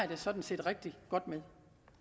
det sådan set rigtig godt med